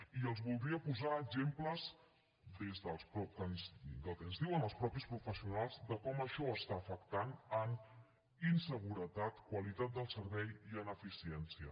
i els voldria posar exemples del que ens diuen els mateixos professionals de com això està afectant en inseguretat qualitat del servei i en eficiència